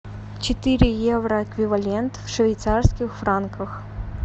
четыре евро эквивалент в швейцарских франках